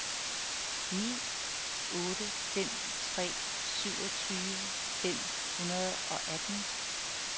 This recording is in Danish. ni otte fem tre syvogtyve fem hundrede og atten